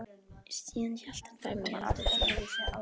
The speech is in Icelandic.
Síðan hélt hann fram í eldhús.